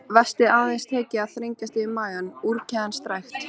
Vestið aðeins tekið að þrengjast yfir magann, úrkeðjan strekkt.